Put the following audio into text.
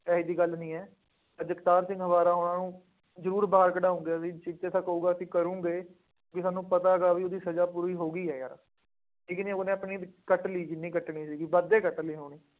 ਇਹੋ ਜਿਹੀ ਗੱਲ ਨਹੀਂ ਹੈ। ਜਗਤਾਰ ਸਿੰਘ ਹਵਾਰਾ ਹੋਰਾਂ ਨੂੰ ਜ਼ਰੂਰ ਬਾਹਰ ਕੱਢਾਊਂਗੇ ਵੀ, ਸਿੱਖ ਜਿਦਾਂ ਕਹੂਗਾ, ਅਸੀਂ ਕਰੂੰਗੇ, ਬਈ ਸਾਨੂੰ ਪਤਾ ਹੈਗਾ, ਬਈ ਉਹਦੀ ਸਜ਼ਾ ਪੂਰੀ ਹੌ ਗਈ ਹੈ ਯਾਰ। ਠੀਕ ਹੈ ਉਹਨੇ ਆਪਣੀ ਕੱਟ ਲਈ ਜਿੰਨੀ ਕੱਟਣੀ ਸੀਗੀ, ਵੱਧ ਹੀ ਕੱਟ ਲਈ ਹੋਣੀ।